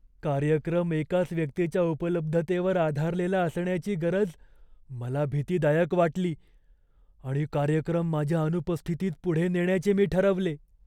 कार्यक्रम एकाच व्यक्तीच्या उपलब्धतेवर आधारलेला असण्याची गरज मला भीतीदायक वाटली आणि कार्यक्रम माझ्या अनुपस्थितीत पुढे नेण्याचे मी ठरवले.